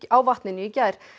á vatninu í gær